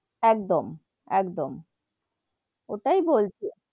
একদম একদম, ওটাই বলছি,